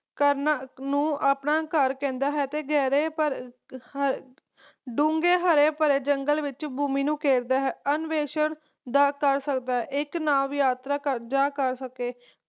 ਕਰਨਾ ਨੂੰ ਆਪਣਾ ਘਰ ਕਹਿੰਦਾ ਹੈ ਅਤੇ ਗਹਿਰੇ ਪਰ ਡੂੰਘੇ ਹਰੇ ਭਰੇ ਜੰਗਲ ਵਿਚ ਭੂਮੀ ਨੂੰ ਘੇਰਦਾ ਹੈ ਕਰ ਸਕਦਾ ਹੈ ਇਕ ਯਾਤਰਾ ਕਰ ਸਕੇ